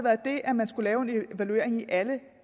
at det at man skulle lave en evaluering i alle